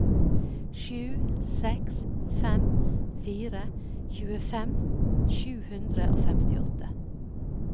sju seks fem fire tjuefem sju hundre og femtiåtte